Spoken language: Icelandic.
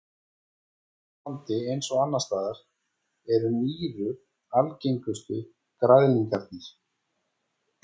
Hér á landi eins og annars staðar eru nýru algengustu græðlingarnir.